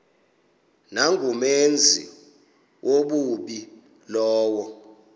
nangumenzi wobubi lowo